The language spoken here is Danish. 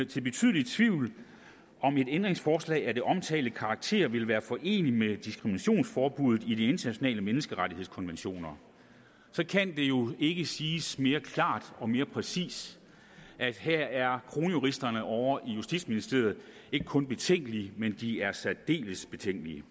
betydelig tvivl om et ændringsforslag af den omtalte karakter ville være foreneligt med diskriminationsforbuddet i de internationale menneskerettighedskonventioner så kan det jo ikke siges mere klart og mere præcist at her er kronjuristerne ovre i justitsministeriet ikke kun betænkelige men de er særdeles betænkelige